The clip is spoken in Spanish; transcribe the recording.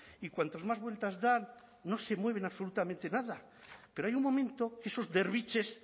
y cuantos más vueltas dan no se mueven absolutamente nada pero hay un momento que esos derviches